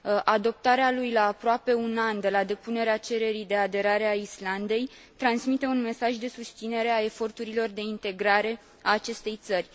Adoptarea lui la aproape un an de la depunerea cererii de aderare a Islandei transmite un mesaj de susținere a eforturilor de integrare ale acestei țări.